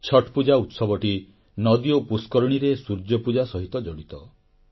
ଛଟ୍ ପୂଜା ଉତ୍ସବଟି ନଦୀ ଓ ପୁଷ୍କରିଣୀର ସୂର୍ଯ୍ୟପୂଜା ସହ ଜଡ଼ିତ